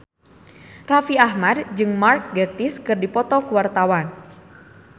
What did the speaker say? Raffi Ahmad jeung Mark Gatiss keur dipoto ku wartawan